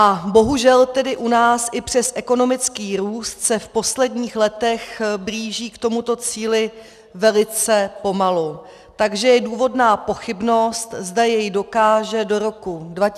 A bohužel tedy u nás i přes ekonomický růst se v posledních letech blížíme k tomuto cíli velice pomalu, takže je důvodná pochybnost, zda jej dokážeme do roku 2024 či 2025, dosáhnout.